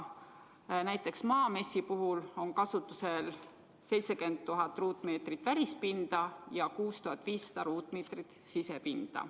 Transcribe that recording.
Näiteks Maamessi puhul on kasutusel 70 000 ruutmeetrit välispinda ja 6500 ruutmeetrit sisepinda.